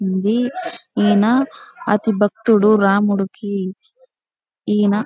ఇది ఈయన అతి భక్తుడు రాముడికి. ఈయన--